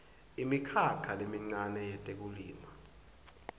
imikhakha lemincane yetekulima